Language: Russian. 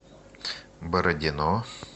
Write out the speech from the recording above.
бородино